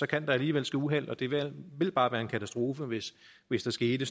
kan der alligevel ske uheld og det ville bare være en katastrofe hvis hvis der skete